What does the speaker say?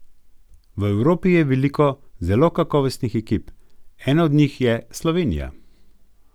V Evropi je veliko zelo kakovostnih ekip, ena od njih je Slovenija.